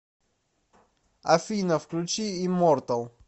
афина включи иммортал